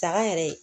Daga yɛrɛ